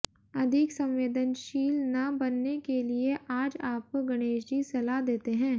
अधिक संवेदनशील न बनने के लिए आज आपको गणेशजी सलाह देते है